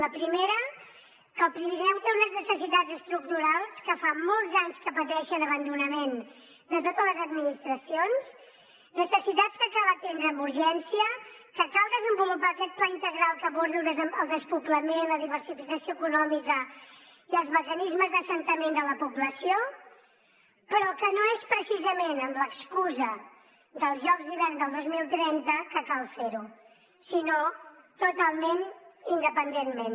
la primera que el pirineu té unes necessitats estructurals que fa molts anys que pateixen abandonament de totes les administracions necessitats que cal atendre amb urgència que cal desenvolupar aquest pla integral que abordi el despoblament la diversificació econòmica i els mecanismes d’assentament de la població però que no és precisament amb l’excusa dels jocs d’hivern del dos mil trenta que cal fer ho sinó totalment independentment